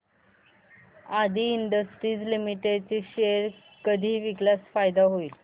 आदी industries limited चे share कधी विकल्यास फायदा होईल